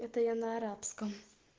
это я на арабском